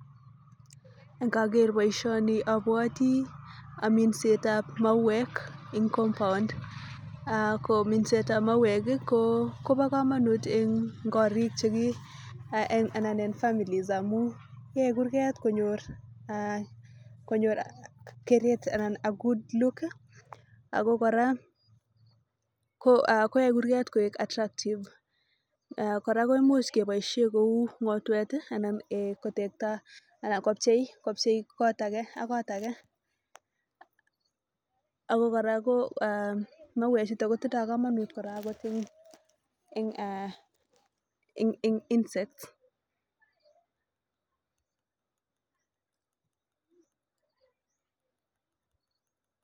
Ngakeer boisioni abwoti minsetab mauwek ing compound minsetab mauwek kobo kamanut eng korik cheki anan eng families pchei kurget konyor aah konyor keret anan a good look ako kora koaei kurget koek attractive kou ngotwet anan kotekta kopchei kot ake ak kot ake ako kora mauwek chutok kobo kamanut ing insects